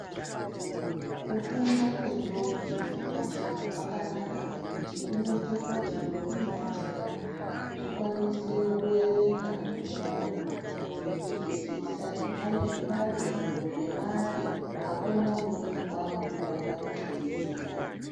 Ku funda kwe ndombi ne majaha kwakanaka ngekuti kuno ite kuti ndombi ne majaha zvi kwanise ku erenga neku nyora neku zwisisa zvinyari zvibalo zve mare akuna uno birwa ngekuti vantu vanenge vei ziya.